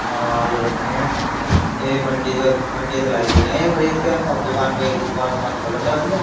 आलू रखे हैं। ते मंडी से मंडी से लाए दिखाए है ये खरीद के। अब दुकान पे दुकान ओकान खोलेंगे अपनी।